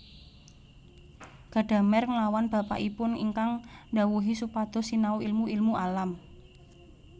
Gadamer nglawan bapakipun ingkang ndhawuhi supados sinau ilmu ilmu alam